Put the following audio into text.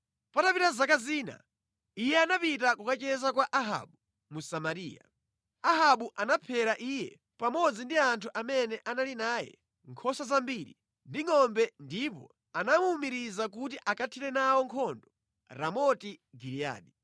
Patapita zaka zina, iye anapita kukacheza kwa Ahabu mu Samariya. Ahabu anaphera iye pamodzi ndi anthu amene anali naye, nkhosa zambiri ndi ngʼombe ndipo anamuwumiriza kuti akathire nawo nkhondo Ramoti Giliyadi